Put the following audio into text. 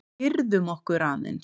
Girðum okkur aðeins!